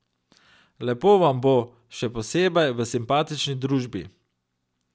Lepo vam bo, še posebej v simpatični družbi.